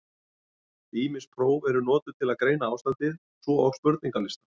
Ýmis próf eru notuð til að greina ástandið, svo og spurningalistar.